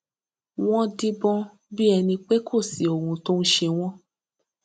wón díbọn bí ẹni pé kò sí ohun tó ń ṣe wón